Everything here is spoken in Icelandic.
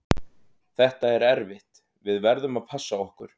Þetta er erfitt, við verðum að passa okkur.